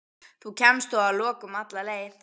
Þú kemst þó að lokum alla leið.